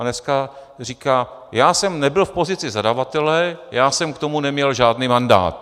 A dneska říká: já jsem nebyl v pozici zadavatele, já jsem k tomu neměl žádný mandát.